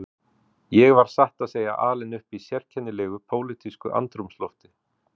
Ég var satt að segja alinn upp í sérkennilegu pólitísku andrúmslofti